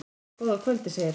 Góða kvöldið, segir hann.